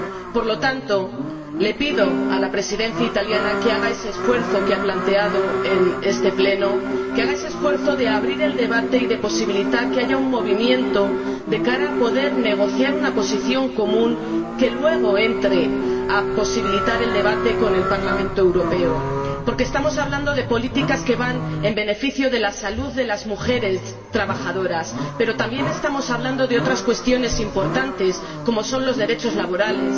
Por lo tanto, pido a la Presidencia italiana que haga ese esfuerzo que ha planteado en este Pleno de abrir el debate y de posibilitar que haya un movimiento de cara a poder negociar una posición común que, luego, posibilite el debate con el Parlamento Europeo, porque estamos hablando de políticas que van en beneficio de la salud de las mujeres trabajadoras, pero también estamos hablando de otras cuestiones importantes, como son los derechos laborales.